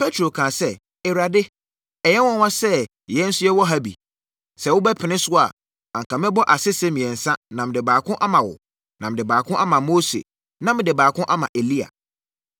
Petro kaa sɛ, “Awurade, ɛyɛ nwanwa sɛ yɛn nso yɛwɔ ha bi. Sɛ wobɛpene so a, anka mɛbɔ asese mmiɛnsa na mede baako ama wo, na mede baako ama Mose, na mede baako ama Elia.”